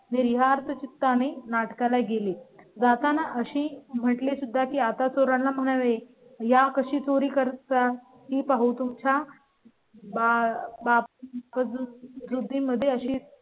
विहार, चित्ता आणि नाटका ला गेली. जाताना अशी म्हटली सुद्धा की आता चोरांना म्हणावे या कशी चोरी करता ही पाहू. तुमच्या बापा कडून वृद्धी मध्ये अशी